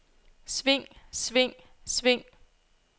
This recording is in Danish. sving sving sving